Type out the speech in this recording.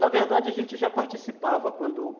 Na verdade, a gente já participava, quando